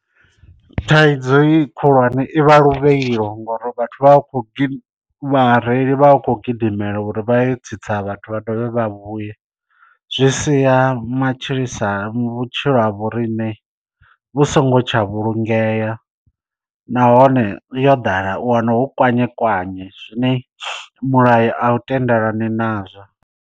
Thaidzo ye khulwane i vha luvhilo ngori vhathu vha vha khou vhareili vha vha khou gidimela uri vha ye tsitsa vhathu vha dovhe vha vhuye. Zwi sia matshilisano sa vhutshilo ha vho riṋe vhu songo tsha vhulungea nahone yo ḓala u wana hu kwanye kwanye zwine mulayo a u tendelani nazwo.